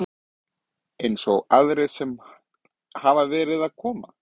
Eins og aðrir sem hafa verið að koma?